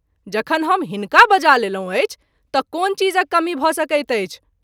जखन हम हिनका बजा लेलहुँ अछि त’ कोन चीजक कमी भ’ सकैत अछि।